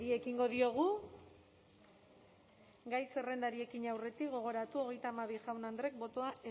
ekingo diogu gai zerrendari ekin aurretik gogoratu hogeita hamabi jaun andreek botoa